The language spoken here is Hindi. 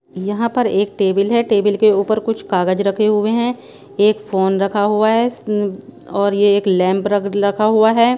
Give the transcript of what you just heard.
यहाँ पर एक टेबल हैं टेबल के ऊपर कुछ कागज रखे हुए हैं एक फोन रखा हुआ हैं और ये एक लैंप रख रखा हुआ हैं।